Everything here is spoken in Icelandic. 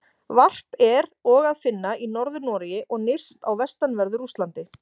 Varp er og að finna í Norður-Noregi og nyrst á vestanverðu Rússlandi.